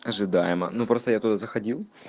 ожидаемо ну просто я туда заходил